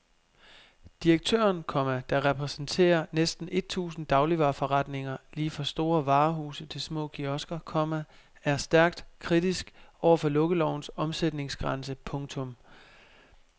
Direktøren, komma der repræsenterer næsten et tusind dagligvareforretninger lige fra store varehuse til små kiosker, komma er stærkt kritisk over for lukkelovens omsætningsgrænse. punktum